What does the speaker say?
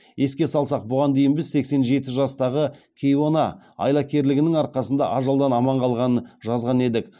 еске салсақ бұған дейін біз сексен жеті жастағы кейуана айлакерлігінің арқасында ажалдан аман қалғанын жазған едік